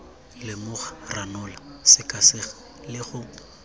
lemoga ranola sekaseka le go